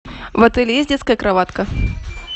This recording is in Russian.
в отеле есть детская кроватка